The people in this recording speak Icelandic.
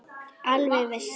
Alveg viss.